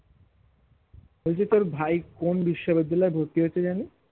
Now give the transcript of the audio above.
ওই যে তোর ভাই কোন বিশ্ববিদ্যালয়ে ভর্তি হয়েছে জানি